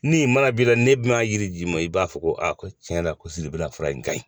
Ni mana b'i la n'e bɛna yiri d'i ma i b'a fɔ ko a ko tiɲɛ yɛrɛ la ko fura in ka ɲi